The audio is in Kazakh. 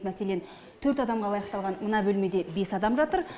мәселен төрт адамға лайықталған мына бөлмеде бес адам жатыр